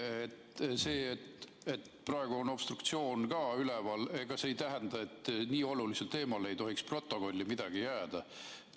Ega see, et praegu on obstruktsioon ka üleval, ei tähenda, et nii olulisel teemal ei tohiks stenogrammi midagi jääda.